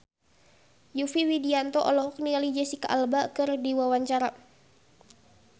Yovie Widianto olohok ningali Jesicca Alba keur diwawancara